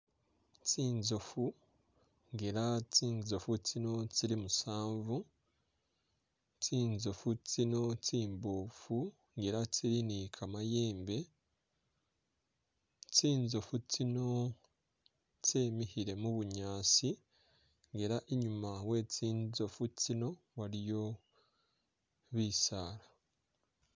Tsitsoofu nga ela tsitsoofu tsino tsili musanvu, tsitsoofu tsino tsimboofu nga ela tsili ni kamayembe tsitsoofu tsino tsemikhile mubunyaasi nga ela i'nyuma we'tsitsoofu tsino waliyo bisaala